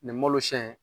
Nin malosiyɛn in